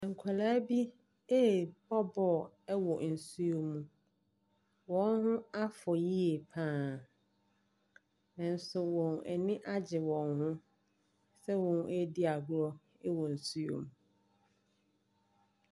Nkwadaa bi ɛrebɔ bɔɔl wɔ nsuo mu, wɔn ho afɔ yie paa nso wɔn ani agye wɔn ho sɛ wɔn ɛredi agorɔ wɔ nsuo mu.